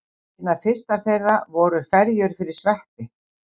Einna fyrstar þeirra voru ferjur fyrir sveppi.